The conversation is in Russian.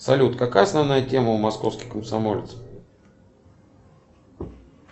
салют какая основная тема у московский комсомолец